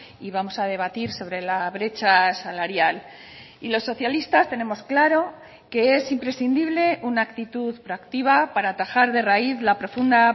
y vamos a debatir sobre la brecha salarial y los socialistas tenemos claro que es imprescindible una actitud proactiva para atajar de raíz la profunda